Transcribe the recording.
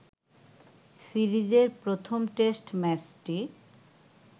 সিরিজের প্রথম টেস্ট ম্যাচটি